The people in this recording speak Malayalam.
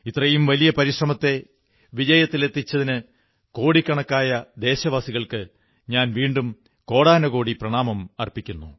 ഇത്രയും വലിയ പരിശ്രമത്തെ വിജയത്തിലെത്തിച്ചതിന് കോടിക്കണക്കായ ദേശവാസികൾക്ക് ഞാൻ വീണ്ടും കോടാനുകോടി പ്രണാമങ്ങളർപ്പിക്കുന്നു